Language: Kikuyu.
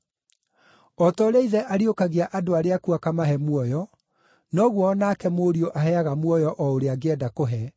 O ta ũrĩa Ithe ariũkagia andũ arĩa akuũ akamahe muoyo, noguo o nake Mũriũ aheaga muoyo o ũrĩa angĩenda kũhe.